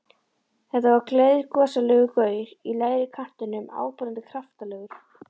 Þetta var gleiðgosalegur gaur í lægri kantinum, áberandi kraftalegur.